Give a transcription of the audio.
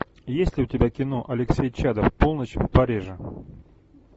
есть ли у тебя кино алексей чадов полночь в париже